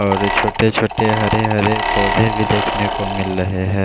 और छोटे छोटे हरे हरे पौधे भी देखने को मिल रहे है।